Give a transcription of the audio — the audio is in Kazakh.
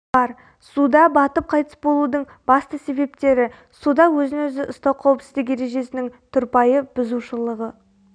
бар суда батып қайтыс болудың басты себептері суда өзін-өзі ұстау қауіпсіздік ережесінің тұрпайы бұзушылығы